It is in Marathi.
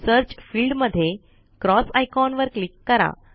सर्च फिल्ड मध्ये क्रॉस आयकॉन वर क्लिक करा